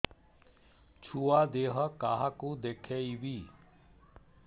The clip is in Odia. ଛୁଆ ଦେହ କାହାକୁ ଦେଖେଇବି